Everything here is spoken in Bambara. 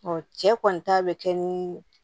cɛ kɔni ta bɛ kɛ ni